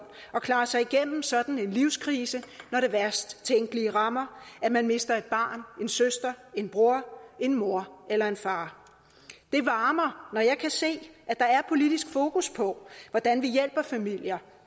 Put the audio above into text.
at klare sig igennem sådan en livskrise når det værst tænkelige rammer at man mister et barn en søster en bror en mor eller en far det varmer når jeg kan se at der er politisk fokus på hvordan vi hjælper familier